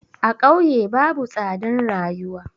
A ƙauye babu tsadan rayuwa.